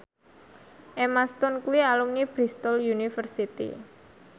Emma Stone kuwi alumni Bristol university